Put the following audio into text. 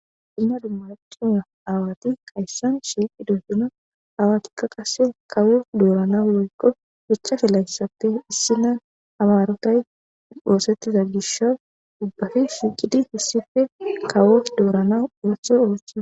ina dummachuma aawati qayssan shiiqi dodguna aawatikka qase kawo doorana woykko hichafe layssappe issi nan amarotay oosettiza gisho dubbafi shiiqidi hissife kawof doorana ontho oothaa